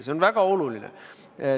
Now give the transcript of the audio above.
See on väga oluline.